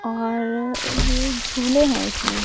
और ये झूले हैं इसमें--